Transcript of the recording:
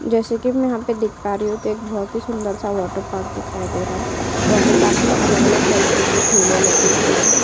जैसे कि मैं यहाँ पर देख पा रही हूँ तो एक बोहोत ही सुंदर- सा वाटर पार्क दिखाई दे रा है वाटर पार्क में अलग-अलग तरीके के झूले लगे हुए हैं।